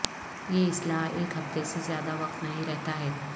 یہ اصلاح ایک ہفتے سے زیادہ وقت نہیں رہتا ہے